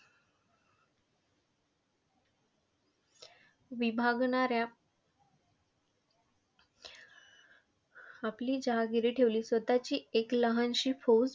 विभागणाऱ्या आपली जहागिरी ठेवली, स्वतःची एक लहानशी फौज.